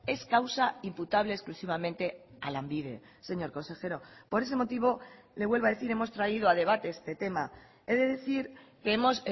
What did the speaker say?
es causa imputable exclusivamente a lanbide señor consejero por ese motivo le vuelvo a decir hemos traído a debate este tema he de decir que hemos